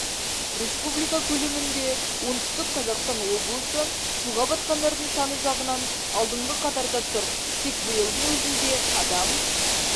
республика көлемінде оңтүстік қазақстан облысы суға батқандардың саны жағынан алдынғы қатарда тұр тек биылдың өзінде адам